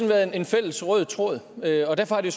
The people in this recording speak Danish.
været en fælles rød tråd derfor derfor har det